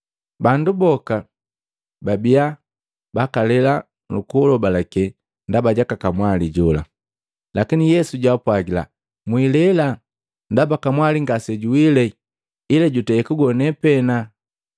Bandu boka babiya bakalela nukulobalake ndaba jaka kamwali jola. Lakini Yesu jaapwagila, “Mwilela, ndaba kamwali ngase juwile ila jutei kugone pee.”